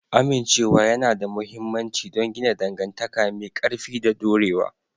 Amincewa yana da mahimmanci don gina dangantaka mai ƙarfi da dorewa.